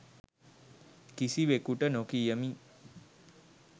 කිසිවෙකුට නොකියමි.